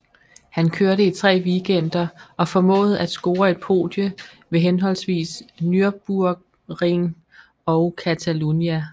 Han kørte i tre weekender og formåede at score et podie ved henholdsvis Nürburgring og Catalunya